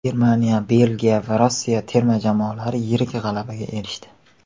Germaniya, Belgiya va Rossiya terma jamoalari yirik g‘alabaga erishdi.